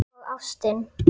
Og ástin.